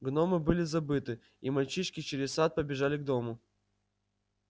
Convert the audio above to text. гномы были забыты и мальчишки через сад побежали к дому